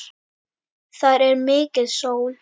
Þar er mikil sól.